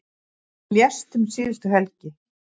Hann lést um síðustu helgi.